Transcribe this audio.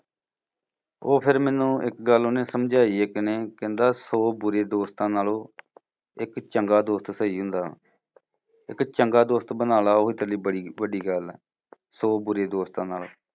ਉਹ ਫੇਰ ਮੈਨੂੰ ਇੱਕ ਗੱਲ ਓਹਨੇ ਸਮਝਾਈ ਇੱਕ ਨੇ ਕਹਿੰਦਾ ਸੌ ਬੂਰੇ ਦੋਸਤਾਂ ਨਾਲੋਂ ਇੱਕ ਚੰਗਾ ਦੋਸਤ ਸਹੀ ਹੁੰਦਾ। ਇੱਕ ਚੰਗਾ ਦੋਸਤ ਬਣਾਲਾ ਉਹ ਤੇਰੇ ਲਈ ਬੜੀ ਵੱਡੀ ਗੱਲ ਆ ਸੌ ਬੂਰੇ ਦੋਸਤਾਂ ਨਾਲੋਂ।